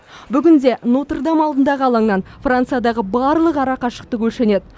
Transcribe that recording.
бүгінде нотр дам алдындағы алаңнан франциядағы барлық арақашықтық өлшенеді